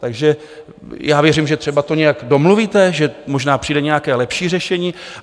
Takže já věřím, že třeba to nějak domluvíte, že možná přijde nějaké lepší řešení.